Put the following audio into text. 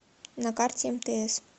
на карте мтс